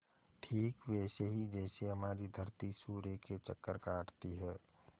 ठीक वैसे ही जैसे हमारी धरती सूर्य के चक्कर काटती है